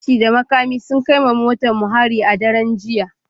‘Yan fashi da makami sun kai wa motar mu hari a daren jiya